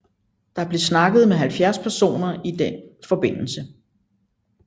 Der blev snakket med 70 personer i den forbindelse